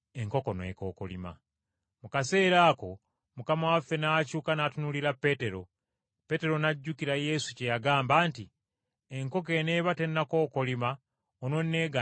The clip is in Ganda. Mu kaseera ako Mukama waffe n’akyuka n’atunuulira Peetero. Peetero n’ajjukira Yesu kye yagamba nti, “Enkoko eneeba tennakookolima ononneegaana emirundi esatu.”